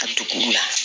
A dugu la